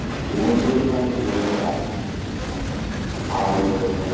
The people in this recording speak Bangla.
ও হয়তো অন্তত আমাকে যোগাযোগ রাখবে আড়ালে হলেও মানে